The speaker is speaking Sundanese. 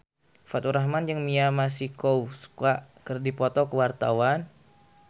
Faturrahman jeung Mia Masikowska keur dipoto ku wartawan